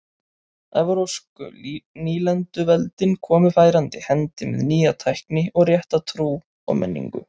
Evrópsku nýlenduveldin komu færandi hendi með nýja tækni og rétta trú og menningu.